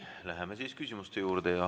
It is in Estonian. Läheme siis küsimuste juurde.